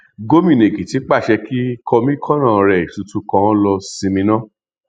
gòmìnà èkìtì pàṣẹ kí kọmíkànnà rẹ tuntun kan ó lọọ sinmi ná